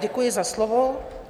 Děkuji za slovo.